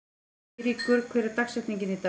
Eyríkur, hver er dagsetningin í dag?